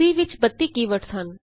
C ਵਿਚ 32 ਕੀ words ਹਨ